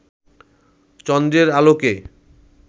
চন্দ্রের আলোকে